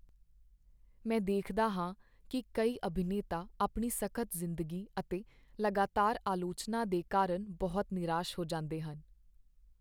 ਮੈਂ ਦੇਖਦਾ ਹਾਂ ਕੀ ਕਈ ਅਭਿਨੇਤਾ ਆਪਣੀ ਸਖ਼ਤ ਜ਼ਿੰਦਗੀ ਅਤੇ ਲਗਾਤਾਰ ਆਲੋਚਨਾ ਦੇ ਕਾਰਨ ਬਹੁਤ ਨਿਰਾਸ਼ ਹੋ ਜਾਂਦੇ ਹਨ।